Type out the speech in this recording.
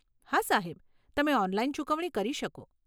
હા સાહેબ, તમે ઓનલાઈન ચૂકવણી કરી શકો.